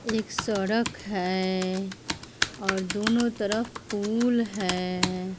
एक सड़क है और दोनों तरफ पुल है।